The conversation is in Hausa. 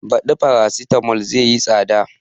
Baɗi farasitamol zai yi tsada